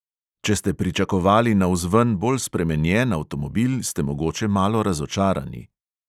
Če ste pričakovali navzven bolj spremenjen avtomobil, ste mogoče malo razočarani.